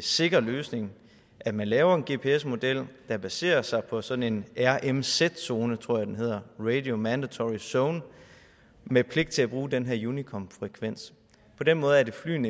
sikker løsning at man laver en gps model der baserer sig på sådan en rmz zone tror jeg den hedder radio mandatory zone med pligt til at bruge den her unicom frekvens på den måde er det flyene